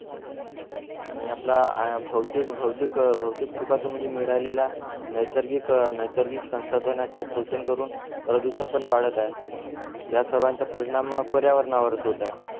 आणि आपल्या भौतिक भौतिक भौतिक सुखातून मिळालेल्या नैसर्गिक नैसर्गिक संसाधनाचा शोषण करून प्रदूषण पण वाढत आहे या सर्वांचा परिणाम पर्यावरणावरच होत आहे